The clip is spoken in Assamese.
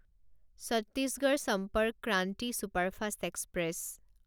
Chhattisgarh Sampark Kranti superfast express